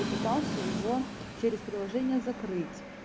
и пытался его через приложение закрыть